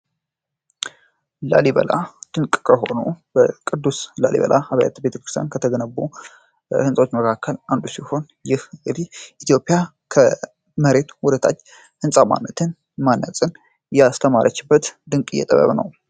ላሊበላ ድንቅ ከሆኖ በቅዱስ ላሊበላ አብያት ቤክርስን ከተገነቡ ሕንጾች መካከል አንዱ ሲሆን ይህ እሪት ኢትዮጵያ ከመሬት ውደታች ሕንፃ ማነትን ማነጽን እያስተማረችበት ድንቅ እየጠበብ ነው።